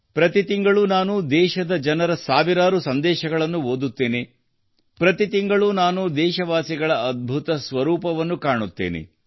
ಪ್ರತಿ ತಿಂಗಳು ನಾನು ದೇಶದ ಜನರ ಸಾವಿರಾರು ಸಂದೇಶಗಳನ್ನು ಓದುತ್ತೇನೆ ಪ್ರತಿ ತಿಂಗಳು ನಾನು ದೇಶವಾಸಿಗಳ ಅದ್ಭುತ ಸ್ವರೂಪವನ್ನು ಕಾಣುತ್ತೇನೆ